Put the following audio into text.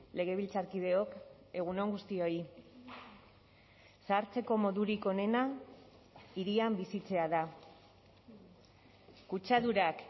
legebiltzarkideok egun on guztioi zahartzeko modurik onena hirian bizitzea da kutsadurak